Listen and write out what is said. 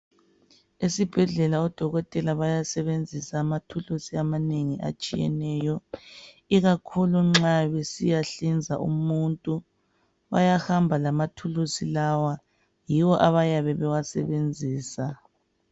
Esibhedlela odokotela bayasebenzisa amathulusi amanengi atshiyeneyo ikakhulu nxa besiyahlinza umuntu bayahamba lamathulusi lawa yiwo abayabe bewasebenzisa.